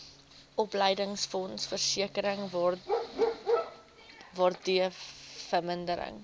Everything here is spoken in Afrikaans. opleidingsfonds versekering waardevermindering